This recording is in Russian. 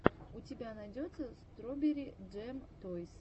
у тебя найдется строберри джэм тойс